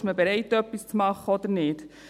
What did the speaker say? Und ist man bereit, etwas zu machen oder nicht?